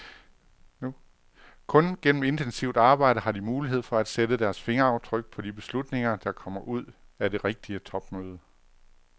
Kun gennem intensivt arbejde har de mulighed for sætte deres fingeraftryk på de beslutninger, der kommer ud af det rigtige topmøde.